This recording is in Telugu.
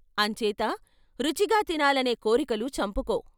అంచేత రుచిగా తినాలనే కోరికలు చంపుకో.